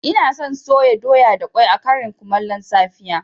Ina son soya doya da ƙwai a ƙarin kumallon safiya